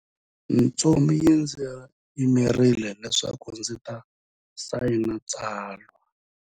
Ntsumi yi ndzi yimerile leswaku ndzi ta sayina tsalwa.